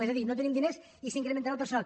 és a dir no tenim diners i s’incrementarà el personal